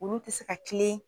Olu ti se ka kilen